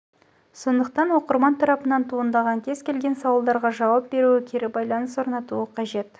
сондықтан оқырман тарапынан туындаған кез келген сауалдарға жауап беруі кері байланыс орнатуы қажет